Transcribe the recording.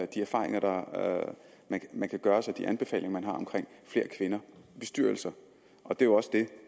de erfaringer man kan gøre sig og de anbefalinger man har om flere kvinder i bestyrelser det er også det